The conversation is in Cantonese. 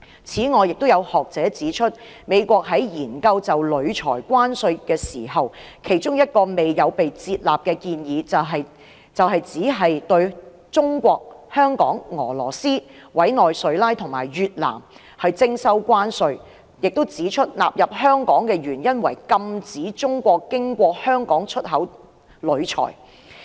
此外，亦有學者指出，美國在研究就鋁材徵收關稅時，其中一個未有被接納的建議，就是只對中國、香港、俄羅斯、委內瑞拉和越南徵收關稅，亦指出納入香港的原因，是要禁止中國經香港出口鋁材。